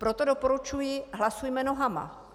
Proto doporučuji - hlasujme nohama.